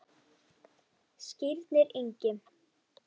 Skírnir Ingi.